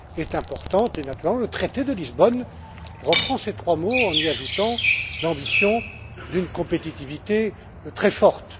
c'est important et, naturellement, le traité de Lisbonne reprend ces trois mots, en y ajoutant l'ambition d'une compétitivité très forte.